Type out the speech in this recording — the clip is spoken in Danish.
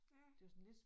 Ja